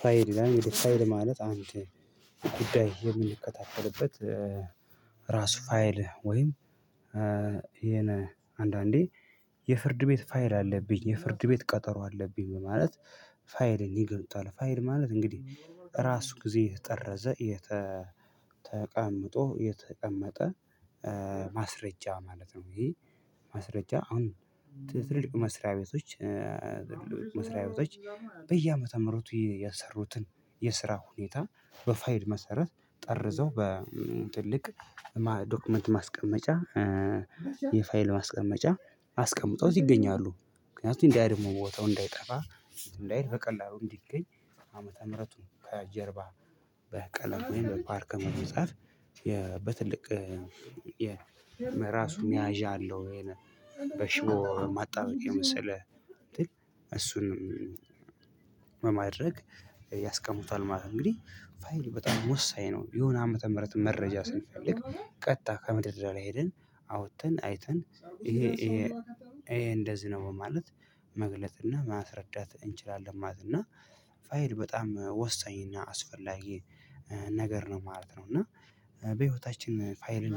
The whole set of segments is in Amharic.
ፋይል ይላል ፋይል ማለት አንድ ጉዳይ የምንከታተልበት። ራሱ ፋይል ወይም። ይሄን አንዳንዴ የፍርድ ቤት ፋይል አለብኝ የፍርድ ቤት ቀጠሮ አለብኝ በማለት። ፋይልን ይገኙታል ፋይል ማለት እንግዲህ በራሱ ጊዜ የተጠረዘ ተቀምጦ የተቀመጠ ማስረጃ ማለት ነው። ይሄ ማስረጃ አሁን ትልቁ መስሪያ ቤቶች መስሪያ ቤቶች በየአመተ ምህረቱ የሰሩትን የስራ ሁኔታ በፋይል መሰረት ጠርዘው በትልቅ ዶክመንት ማስቀመጫ። የፋይል ማስቀመጫ አስቀምጠውት ይገኛሉ ምክንያቱም እንዳይ ደግሙ ቦታው እንዳይጠፋ እንዳይል በቀላሉ እንዲገኝ። ዓመተ ምህረቱን ከጀርባ በቀለሉ ወይም በፓርክ በመጻፍ በትልቅ የራሱን መያዣ ኣለው። ይሄን በሽቦ ማጣበቅያ የመሰለ እሱንም በማድረግ ያስቀሙታል ማለት ነው። እንግዲህ ፋይል በጣም ወሳኝ ነው የሆነ ዓመተ ምህረት መረጃ ስንፈልግ ቀጥታ ከመደርደርያ ላይ ሄደን አውጥተን አይተን። ይሄ እንደዚህ ነው ማለት መግለጥ እና ማስረዳት እንችላለን። ማለት እና ፋይል በጣም ወሳኝ እና አስፈላጊ ነገር ነው ማለት ነው። እና በህይወታችን ፋይልን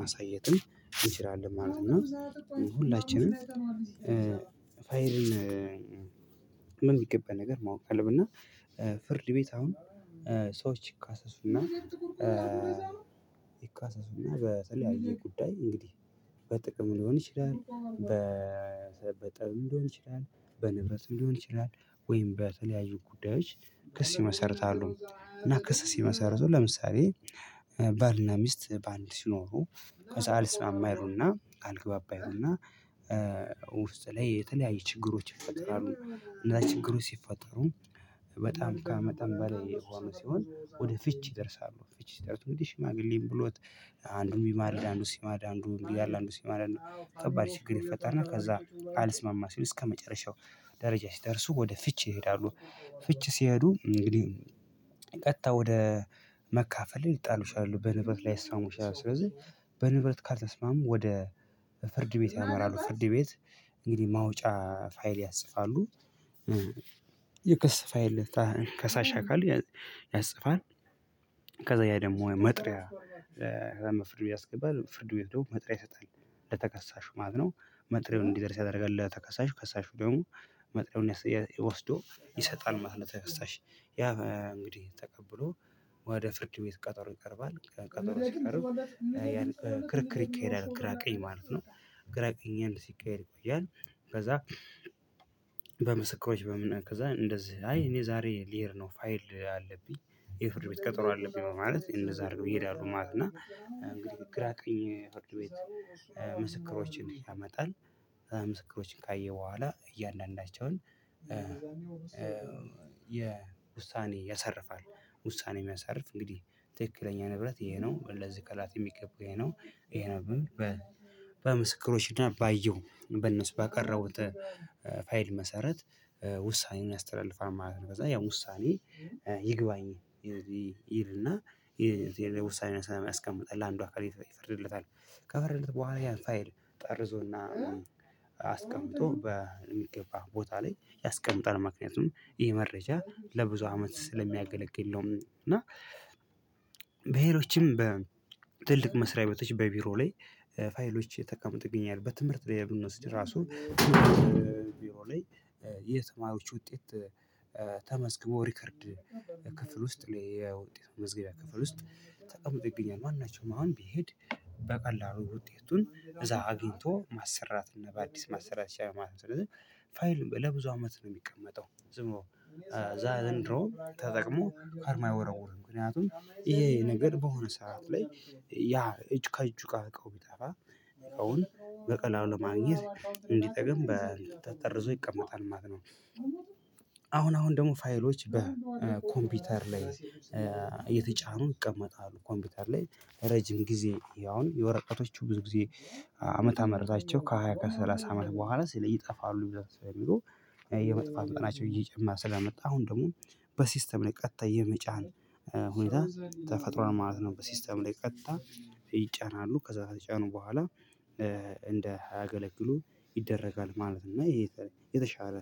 ማሳየትም እንችላለን ማለት ነው። እና ሁላችንም ፋይልን በሚገባ ነገር ማወቅ አለብና። ፍርድ ቤት አሁን ሰዎች ይካሰሱና ይካሰሱና በተለያየ ጉዳይ እንግዲህ በጥቅም ሊሆን ይችላል። በጠብም ሊሆን ይችላል በንብረትም ሊሆን ይችላል ወይም በተለያዩ ጉዳዮች ክስ ይመሰርታሉ። እና ክስ ሲመሰርቱ ለምሳሌ ባልና ሚስት በኣንድ ሲኖሩ ከዛ ኣልስማማ ይሉና አልግባባ ይሉና ውስጥ ላይ የተለያየ ችግሮች ይፈጠራሉ። እና ችግሩ ሲፈጥሩ በጣም ከመጠን በላይ የሆኑ ሲሆን ወደ ፍች ይደርሳሉ። ፍች ይደርሳሉ ወደ ሽማግሌን ብሎት አንዱን የሚማል አንዱን ሲማር አንዱን ያለ አንዱን ሲማር ነው። ከባድ ችግር ይፈጠርና ከዛ አልስማማ ሲሉ እስከመጨረሻው ደረጃ ሲደርሱ ወደ ፍቺ ይሄዳሉ። ፍቺ ሲሄዱ እንግዲህ ቀጥታ ወደ መካፈል ይጣሉሻል በንብረት ላይ ይስታሙሻል። ስለዚህ በንብረት ካልተስማሙ ወደ ፍርድ ቤት ያመራሉ። ፍርድ ቤት እንግዲህ ማውጫ ፋይል ያጽፋሉ የስስ ፋይል ከሳሽ ካሉ ያጽፋል። ከዛ ያ ደግሞ መጥሪያ ፍርድ ቤት ያስገባል ፍርድ ቤት ደግሞ መጥሪያ ይሰጣል ለተከሳሹ ማለት ነው። መጥሪያውን እንዲደርስ ያደርጋል ለተከሳሽ ከሳሹ ደግሞ መጥሪያውን ወስዶ ይሰጣል ማለት ነው። ተከሳሽ ያ እንግዲህ ተቀብሎ ወደ ፍርድ ቤት ቀጠሮ ይቀርባል ቀጠሮ ሲቀርብ ያን ክርክር ይካሄዳል። ግራ ቀኝ ማለት ነው ግራ ቀኝ አንድ ሲቀየር ይቆያል። ከዛ በምስክሮች በምን ከዛ እንደዚህ አይ እኔ ዛሬ ልሄድ ነው ፋይል አለብኝ የፍርድ ቤት ቀጠሮ አለብኝ። ማለት እንደዛ አድርገው ይሄዳሉ ማለት። እና እንግዲህ ግራ ቅኝ ፍርድ ቤት ምስክሮችን ያመጣል። ምስክሮችን ካየሁ በኋላ እያንዳንዳቸውን የውሳኔ ያሰርፋል ያሳርፋል። ውሳኔ የሚያሳርፍ እንግዲህ ትክክለኛ ንብረት ይሄ ነው ለዚህ ኣካላት የሚገባው ይሄ ነው ይሄ ነው። በምስክሮች እና ባየው በነሱ ባቀረቡት ፋይል መሰረት ውሳኔውን ያስተላልፋል ማለት ነው። ከዛ ያ ውሳኔ ይግባኝ ይል እና የዚህ የውሳኔውን ሰላም ያስቀምጣል ለአንዱ ይፍርድለታል ከፍርድለት በኋላ ያፋይል ጠርዞና አስቀምጦ በሚገባ ቦታ ላይ ያስቀምጣል። ምክንያቱም ይሄ መረጃ ለብዙ አመት ስለሚያገለግል ነው። እና በሄሮችም በትልቅ መስሪያ ቤቶች በቢሮ ላይ ፋይሎች የተቀመጡት ይገኛሉ። በትምህርት ላይ ብንወስድ ራሱ ቢሮ ላይ የተማሪዎች ውጤት ተመዝግቦ ሪከርድ ክፍል ውስጥ ላይ የውጤት መመዝገቢያ ክፍል ውስጥ ተቀምጦ ይገኛል። ማናቸው አሁን ቢሄድ በቀላሉ ውጤቱን እዛ አግኝቶ ማሰራት እና በአዲስ ማሰራት ይቻላል ማለት ነው። ፋይል ለብዙ አመት ነው የሚቀመጠው። ዝም እንደውም ተጠቅሞ ካርማ አይወረውርም ምክንያቱም ይሄ ነገር በሆነ ሰዓት ላይ ያ እጅ ከእጁ ጋር እቃውን ቢያጠፋ ስውን በቀላሉ ለማግኘት እንዲጠቅም ተጠርዞ ይቀመጣል ማለት ነው። አሁን አሁን ደግሞ ፋይሎች በኮምፒውተር ላይ እየተጫኑ ይቀመጣሉ። ኮምፒውተር ላይ ረጅም ጊዜ ያው የወረቀቶቹ ብዙ ጊዜ አመት ምህረታቸው ከሃያ ከሠላሳ አመት በኋላ ስለዚህ ይጠፋሉ ብለው ስለሚለው የመጥፋት ቀናቸው እየጨመረ ስለመጣ አሁን ደግሞ በሲስተም ላይ ቀጥታ የሚጫን ሁኔታ ተፈጥሮዋል ማለት ነው። በሲስተም ላይ ቀጥታ ይጫናሉ ከዛ ከተጫኑ በኋላ እንደያ አገለግሉ ይደረጋል። ማለት እና ይሄ የተሻለ